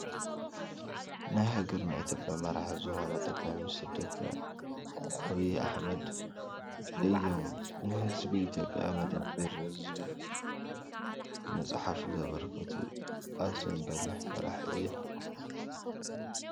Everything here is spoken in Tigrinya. ናይ ሃገርና ኢትዮጵያ መራሒ ዝኮነ ጠቅላይ ሚኒስተር ዶ/ረ ዐቢይ ኣሐመድ እዮም ንህዝቢ ኢትዮጵያ መደመር ዝብል ምፅሓፍ ዘበርከቱ ኣዝዮም በሊሕ መራሒ እዮም።